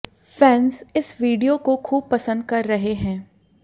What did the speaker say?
fans इस video को खूब पंसद कर रहे हैं